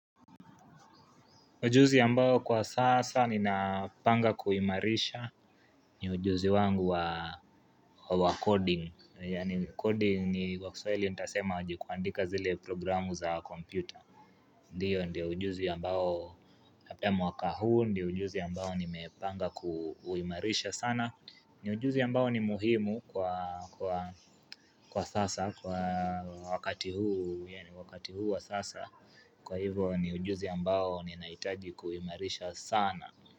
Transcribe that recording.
Ujuzi ambao kwa sasa ninapanga kuimarisha ni ujuzi wangu wa coding. Yaani coding ni kwa kiswaili nitasema aje kuandika zile programu za kompyuta. Ndiyo ndio ujuzi ambao hape mwaka huu ndio ujuzi ambao nimepanga kuuimarisha sana. Ni ujuzi ambao ni muhimu kwa sasa kwa wakati huu yaani wakati huu wa sasa. Kwa hivo ni ujuzi ambao ninaitaji kuuimarisha sana.